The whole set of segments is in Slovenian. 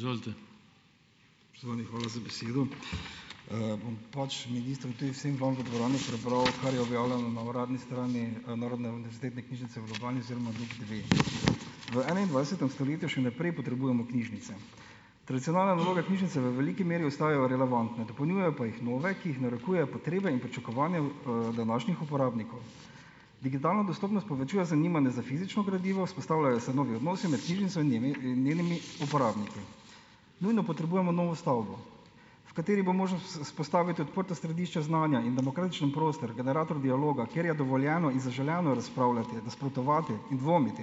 hvala za besedo. Bom pač ministru in tudi vsem vam v dvorani prebral, kar je objavljeno na uradni strani Narodne univerzitetne knjižnice v Ljubljani oziroma NUK dve. V enaindvajsetem stoletju še naprej potrebujemo knjižnice. Tradicionalne naloge knjižnice v veliki meri ostajajo relevantne, dopolnjujejo pa jih nove, ki jih narekujejo potrebe in pričakovanja, današnjih uporabnikov. Digitalna dostopnost povečuje zanimanje za fizično gradivo, vzpostavljajo se novi odnosi med knjižnico in njenimi uporabniki. Nujno potrebujemo novo stavbo, v kateri bo možno vzpostaviti odprto središče znanja in demokratičen prostor, generator dialoga, kjer je dovoljeno in zaželeno razpravljati, nasprotovati in dvomiti.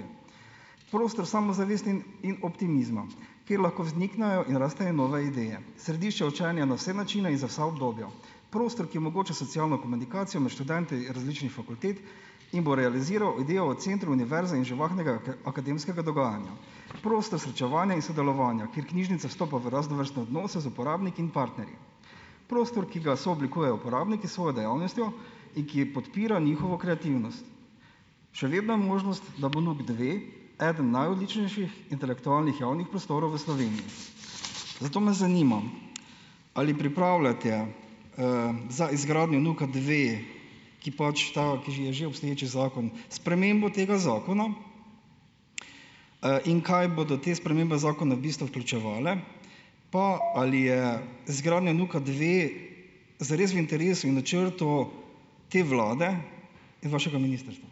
Prostor samozavesti in optimizma, kjer lahko vzniknejo in rastejo nove ideje. Središče učenja na vse načine in za vsa obdobja. Prostor, ki omogoča socialno komunikacijo med študenti različnih fakultet in bo realiziral idejo o centru univerze in živahnega akademskega dogajanja. Prostor srečevanja in sodelovanja, kjer knjižnica vstopa v raznovrstne odnose z uporabniki in partnerji. Prostor, ki ga sooblikujejo uporabniki s svojo dejavnostjo in ki podpira njihovo kreativnost. Še vedno je možnost, da bo NUK dve eden najodličnejših intelektualnih javnih prostorov v Sloveniji. Zato me zanima, ali pripravljate, za izgradnjo NUK-a dve, ki pač ta, ki je že obstoječi zakon, spremembo tega zakona, in kaj bodo te spremembe zakona v bistvu vključevale. Pa, ali je zgradnja NUK-a dve zares v interesu in načrtu te vlade in vašega ministrstva?